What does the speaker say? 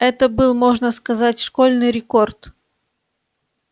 это был можно сказать школьный рекорд